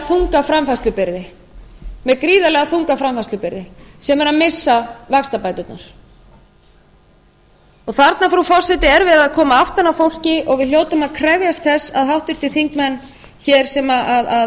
þunga framfærslubyrði sem er að missa vaxtabæturnar þarna frú forseti er verið að koma aftan að fólki og við hljótum að krefjast þess að háttvirtir þingmenn hér sem